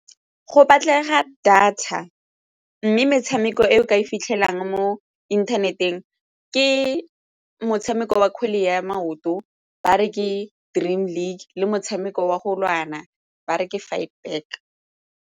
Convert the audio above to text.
Go batlega data mme metshameko e o ka e fitlhelang mo inthaneteng ke motshameko wa kgwele ya maoto ba re ke Dream League le motshameko wa go lwana ba re ke .